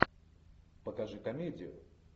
покажи комедию